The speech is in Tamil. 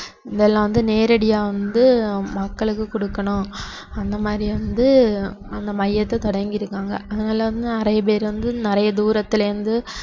இதெல்லாம் வந்து நேரடியாக வந்து மக்களுக்கு கொடுக்கணும் அந்த மாதிரி வந்து அந்த மையத்தை தொடங்கியிருக்காங்க அதனால வந்து நிறைய பேர் வந்து நிறைய தூரத்தில் இருந்து